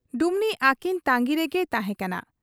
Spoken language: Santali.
ᱰᱩᱢᱱᱤ ᱟᱹᱠᱤᱱ ᱛᱟᱺᱜᱤ ᱨᱮᱜᱮᱭ ᱛᱟᱦᱮᱸ ᱠᱟᱱᱟ ᱾